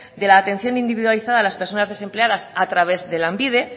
de la atención individualizada a las personas desempleadas a través de lanbide